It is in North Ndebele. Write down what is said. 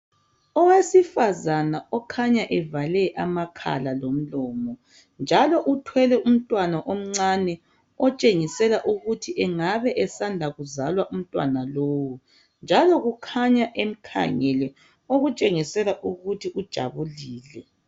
Owesifazana okhanya evale amakhala lomlomo njalo uthwele umntwana omncane otshengisela ukuthi engabe esanda kuzalwa umntwana lowu njalo kukhanya emkhangele okutshengisela ukuthi ujabulile